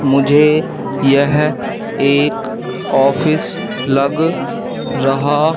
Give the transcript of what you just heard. मुझे यह एक ऑफिस लग रहा--